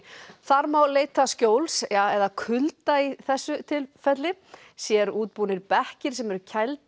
þar má leita skjóls eða kulda í þessu tilfelli sérútbúnir bekkir sem eru